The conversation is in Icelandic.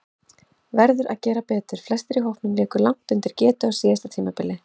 Verður að gera betur: Flestir í hópnum léku langt undir getu á síðasta tímabili.